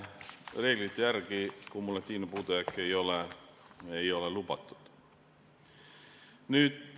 Reeglite järgi ei ole kumulatiivne puudujääk lubatud.